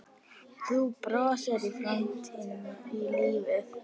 Þú brostir framan í lífið.